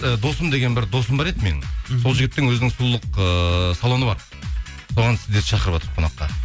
і досым деген бір досым бар еді менің сол жігіттің өзінің сұлулық ыыы салоны бар соған сіздерді шақырватыр қонаққа